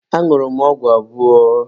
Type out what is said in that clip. Añụrụ m ọgwụ abụọ.